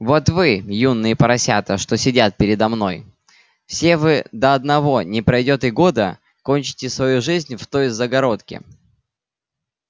вот вы юные поросята что сидят передо мной все вы до одного не пройдёт и года кончите свою жизнь в той загородке